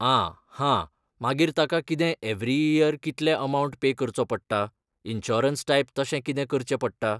आं हां, मागीर ताका कितें एवरी इयर कितले अमावंट पे करचो पडटा, इन्शुरंस टायप तशें कितें करचें पडटा